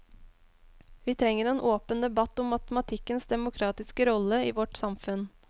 Vi trenger en åpen debatt om matematikkens demokratiske rolle i vårt samfunn.